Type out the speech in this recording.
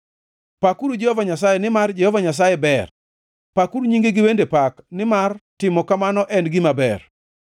Pakuru Jehova Nyasaye, nimar Jehova Nyasaye ber; pakuru nyinge gi wende pak nimar timo kamano en gima ber.